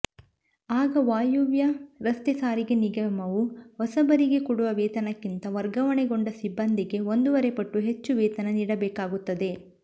ಆಗ ವಾಯುವ್ಯ ರಸ್ತೆ ಸಾರಿಗೆ ನಿಗಮವು ಹೊಸಬರಿಗೆ ಕೊಡುವ ವೇತನಕ್ಕಿಂತ ವರ್ಗಾವಣೆಗೊಂಡ ಸಿಬ್ಬಂದಿಗೆ ಒಂದೂವರೆಪಟ್ಟು ಹೆಚ್ಚು ವೇತನ ನೀಡಬೇಕಾಗುತ್ತದೆ